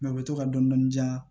u bɛ to ka dɔni dɔni diyan